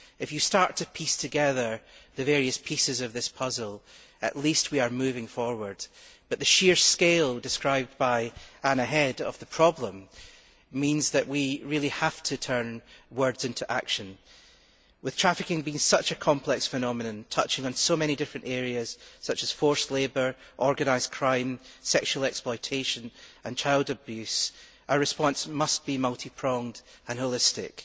If you start to put together the various pieces of this puzzle, at least we are moving forward, but the sheer scale of the problem described by Anna Hedh means that we really have to turn words into action. With trafficking being such a complex phenomenon, touching on so many different areas such as forced labour, organised crime, sexual exploitation and child abuse, our response must be multi pronged and holistic.